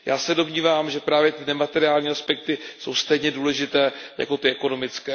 Já se domnívám, že právě ty nemateriální aspekty jsou stejně důležité jako ty ekonomické.